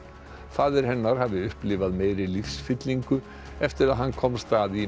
faðir hennar hafi upplifað meiri lífsfyllingu eftir að hann komst að í